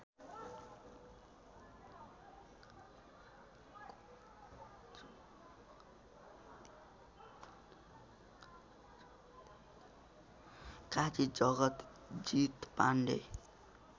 Kaji Jagjit Pandey